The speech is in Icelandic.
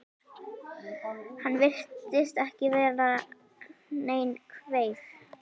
Hann virtist ekki vera nein kveif?